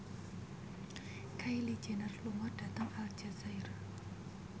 Kylie Jenner lunga dhateng Aljazair